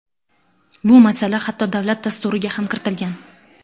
Bu masala hatto davlat Dasturiga ham kiritilgan.